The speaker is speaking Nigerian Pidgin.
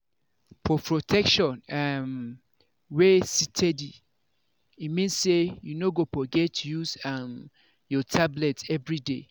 for protection um wey steady e mean say you no go forget to use um your tablet everyday.